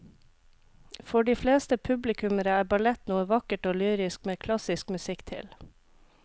For de fleste publikummere er ballett noe vakkert og lyrisk med klassisk musikk til.